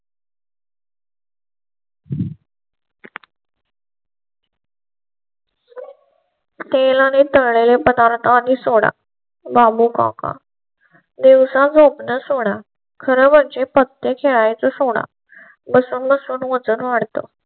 तेल आणि तळ लेले पदार्थ आणि सोडा वा मुका दिवसा झ़ोप णे सोडा. खरं म्हणजे पत्ते खेळायचं सोडा बसून बसून वजन वाढतं.